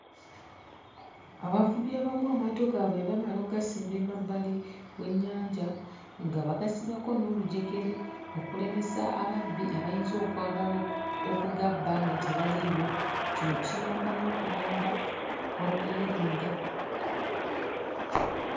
Abavubi abamu amaato gaabwe bwe bamala okugasimba emabbali w'ennyanja nga bagasibako n'olujegere okulemesa ababbi abayinza okwagala oku okugabba nga tebaliiwo. Kino kiyamba n'okuyamba okwerinda.